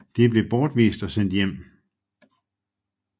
De blev bortvist og sendt hjem